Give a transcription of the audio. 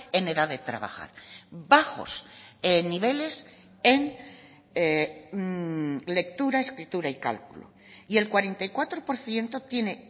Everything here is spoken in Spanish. en edad de trabajar bajos niveles en lectura escritura y cálculo y el cuarenta y cuatro por ciento tiene